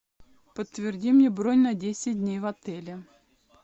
подтверди мне бронь на десять дней в отеле